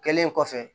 Kɛlen kɔfɛ